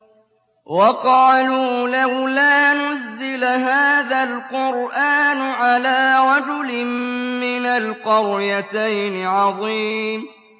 وَقَالُوا لَوْلَا نُزِّلَ هَٰذَا الْقُرْآنُ عَلَىٰ رَجُلٍ مِّنَ الْقَرْيَتَيْنِ عَظِيمٍ